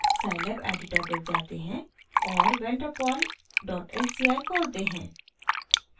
scilab editor पर जाते हैं और vander pol डॉट sci खोलते हैं